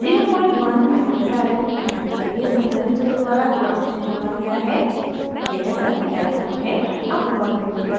a1 01uf micro farad धारिता के संधारित्र द्वारा gnd से जोड़ा गया है यह circuit diagram है